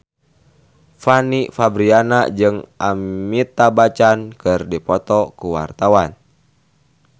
Fanny Fabriana jeung Amitabh Bachchan keur dipoto ku wartawan